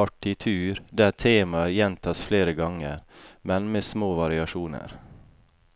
partitur der temaer gjentas flere ganger, men med små variasjoner.